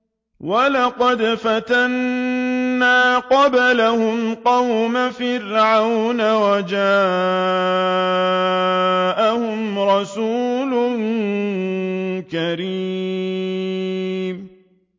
۞ وَلَقَدْ فَتَنَّا قَبْلَهُمْ قَوْمَ فِرْعَوْنَ وَجَاءَهُمْ رَسُولٌ كَرِيمٌ